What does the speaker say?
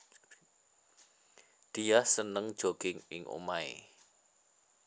Diah seneng jogging ing omahé